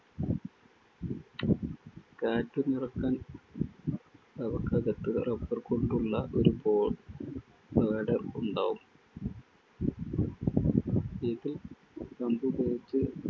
കാറ്റു നിറക്കാൻ അവക്കകത്ത് rubber കൊണ്ടുള്ള ഒരു baw bladder ഉണ്ടാവും. ഇതിൽ pump ഉപയോഗിച്ച്